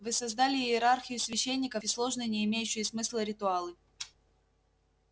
вы создали иерархию священников и сложные не имеющие смысла ритуалы